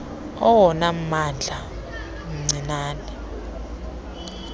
awona mandla mancinane